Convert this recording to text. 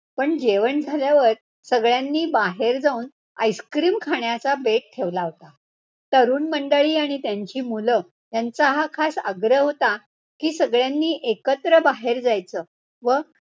happy असलो तरी जुन्या गाण्या मध्ये एक मज्जा आहे ऐकण्यात ती कुठे नाहीये आला की mood happy होतो याला की मला जस्त करून लग जा गले आवडतो